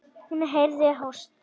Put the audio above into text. Hún heyrði hósta.